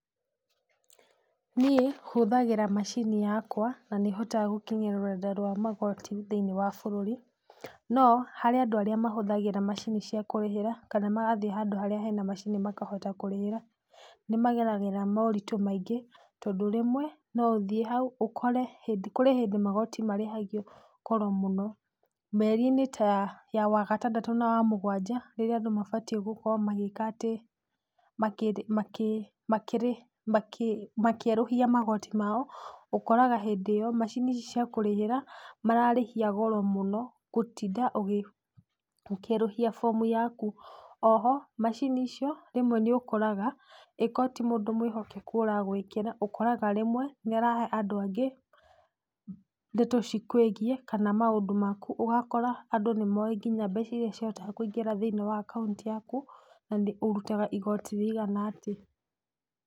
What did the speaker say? Niĩ hũthagĩra macini yakwa, na nĩhotaga gũkinyira rũrenda rwa magoti thĩinĩ wa bũruri, no harĩ andũ arĩa mahũthagĩra macini cia kũrĩhĩra kana magathiĩ handũ harĩa harĩ na macini makahota kũrĩhĩra. Nimageragĩra moritũ maingĩ tondũ rĩmwe, no ũthiĩ hau ũkore hĩndĩ Kũrĩ hĩndĩ magoti marĩhagio goro mũno mĩerinĩ ta ya wagatandatũ na wamũgwanja, nĩrio andũ mabatie gũkorwo magĩka atĩ, makĩ makĩ makĩrĩ makĩ makĩerũhia magoti mao, ũkoraga hĩndĩ ĩyo macini ici cia kũrĩhĩra mararĩhia goro mũno gũtinda ũgĩ ũkierũhia fomu yaku. Oho macini icio rĩmwe nĩokoraga ĩko ti mũndũ mwĩhokeku aragwĩkĩra ũkoraga rĩmwe nĩarahe andũ angĩ ndeto cikũĩgie kana maũndũ maku, ũgakora andũ nĩmoĩ mbeca iria cihotaga kũingĩra thĩinĩ wa akaunti yaku na ũrutaga igoti rĩigana atĩa.